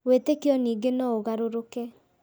Wĩtĩkio ningĩ no ũgarũrũke